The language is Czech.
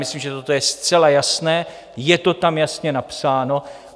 Myslím, že toto je zcela jasné, je to tam jasně napsáno.